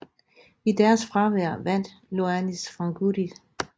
I deres fravær vandt Ioannis Frangoudis